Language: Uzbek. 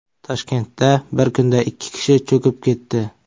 Toshkentda bir kunda ikki kishi cho‘kib ketdi.